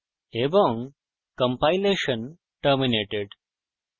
এবং compilation terminated